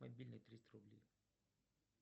мобильный триста рублей